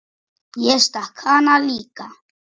Ég stakk hann líka.